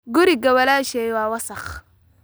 Guriga walaashay waa wasakh